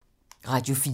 Radio 4